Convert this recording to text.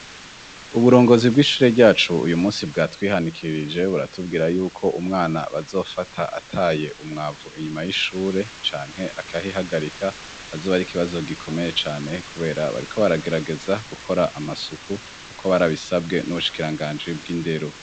Uburongozi bw'ishure ryacu uyu musi bwa twihanikirije buratubwira yuko umwana bazofata ataye umwavu inyuma y'ishure canke akahihagarika azoba ari ikibazo gikomeye cane, kubera bariko baragerageza gukora amasuku uko barabisabwe n'ubushikiranganji bw'inderu.